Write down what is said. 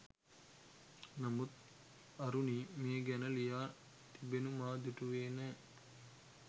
නමුත් අරුණී මේ ගැන ලියා තිබෙනු මා දුටුවේ නෑ.